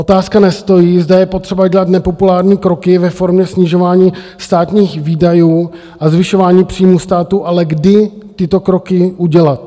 Otázka nestojí, zda je potřeba dělat nepopulární kroky ve formě snižování státních výdajů a zvyšování příjmů státu, ale kdy tyto kroky udělat.